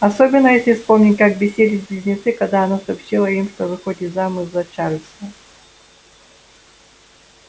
особенно если вспомнить как бесились близнецы когда она сообщила им что выходит замуж за чарлза